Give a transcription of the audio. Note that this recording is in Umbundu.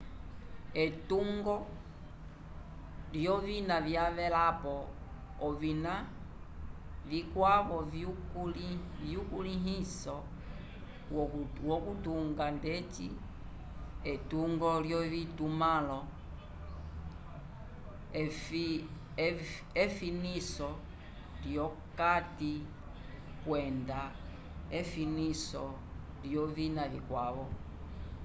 etungo lyovina lyavelapo ovina vikwavo vyukulĩhiso wokutunga ndeci etungo lyovitumãlo efiniso lyokati kwenda efiniso lyovina vikwavo